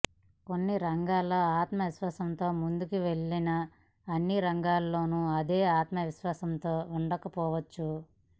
కొన్ని రంగాల్లో ఆత్మవిశ్వాసంతో ముందుకు వెళ్లినా అన్ని రంగాల్లోనూ అదే ఆత్మవిశ్వాసంతో ఉండకపోవచ్చు